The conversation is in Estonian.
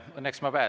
Õnneks ma pääsen.